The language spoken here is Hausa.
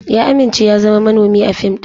Ya amince ya zama manomi a fim ɗin.